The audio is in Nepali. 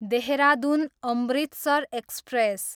देहरादुन, अमृतसर एक्सप्रेस